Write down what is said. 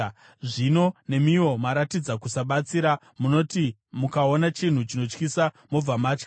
Zvino nemiwo maratidza kusabatsira; munoti mukaona chinhu chinotyisa mobva matya.